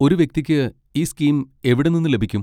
ഒരു വ്യക്തിക്ക് ഈ സ്കീം എവിടെ നിന്ന് ലഭിക്കും?